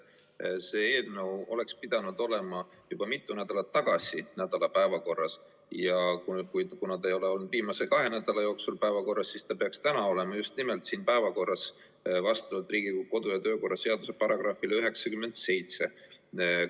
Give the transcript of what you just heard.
See eelnõu oleks pidanud olema juba mitu nädalat tagasi päevakorras ja kuna see ei ole olnud viimase kahe nädala jooksul päevakorras, siis see peaks vastavalt Riigikogu kodu- ja töökorra seaduse §-le 97 olema just nimelt täna selles päevakorras.